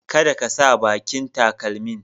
kaɗa ka sa ɓaƙin taƙalmin.